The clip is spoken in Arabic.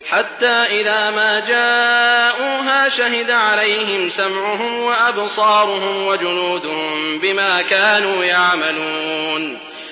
حَتَّىٰ إِذَا مَا جَاءُوهَا شَهِدَ عَلَيْهِمْ سَمْعُهُمْ وَأَبْصَارُهُمْ وَجُلُودُهُم بِمَا كَانُوا يَعْمَلُونَ